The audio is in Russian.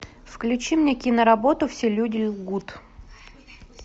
включи мне кино работу все люди лгут